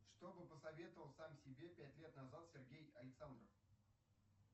что бы посоветовал сам себе пять лет назал сергей александров